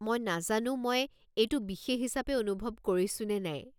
মই নাজানো মই এইটো বিশেষ হিচাপে অনুভৱ কৰিছো নে নাই।